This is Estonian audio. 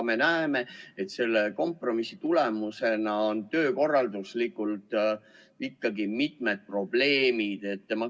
Me näeme, et selle kompromissi tagajärjel tekivad töökorralduslikult ikkagi mitmed probleemid.